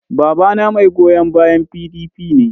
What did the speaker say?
Babana mai goyon bayan PDP ne.